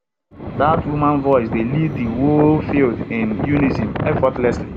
dat woman voice dey lead de whole field in unison effortlessly